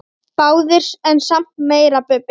Báðir en samt meira Bubbi.